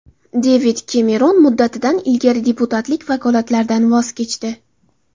Devid Kemeron muddatidan ilgari deputatlik vakolatlaridan voz kechdi.